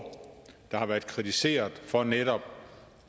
der har været kritiseret for netop